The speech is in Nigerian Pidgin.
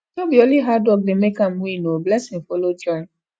no be only hard work dey make am win o blessing follow join